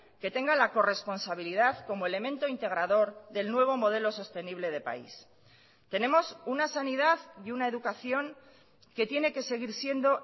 que tenga la corresponsabilidad como elemento integrador del nuevo modelo sostenible de país tenemos una sanidad y una educación que tiene que seguir siendo